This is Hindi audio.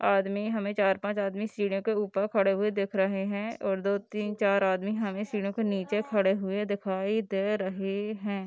आदमी हमें चार-पाँच आदमी सीढ़ियों के ऊपर खड़े हुए दिख रहें हैं और दो तीन चार आदमी हमें सीढ़ियों के नीचे खड़े हुए दिखाई दे रहें हैं।